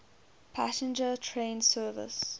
passenger train service